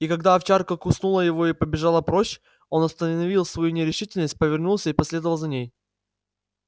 и когда овчарка куснула его и побежала прочь он оставил свою нерешительность повернулся и последовал за ней